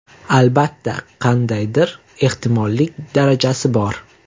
Albatta, qandaydir ehtimollik darajasi bor.